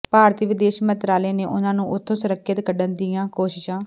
ਭਾਰਤੀ ਵਿਦੇਸ਼ ਮੰਤਰਾਲੇ ਨੇ ਉਨ੍ਹਾਂ ਨੂੰ ਉਥੋਂ ਸੁਰੱਖਿਅਤ ਕੱਢਣ ਦੀਆਂ ਕੋਸ਼ਿਸ਼ਾ